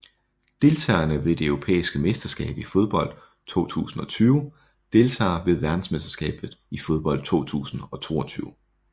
Deltagere ved det europæiske mesterskab i fodbold 2020 Deltagere ved verdensmesterskabet i fodbold 2022